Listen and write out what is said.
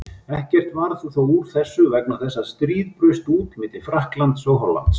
Ekkert varð þó úr þessu vegna þess að stríð braust út milli Frakklands og Hollands.